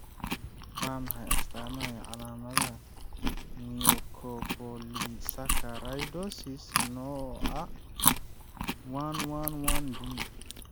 Waa maxay astamaha iyo calaamadaha Mucopolysaccharidosis nooca IIID?